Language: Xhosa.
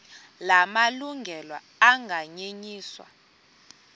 la malungelo anganyenyiswa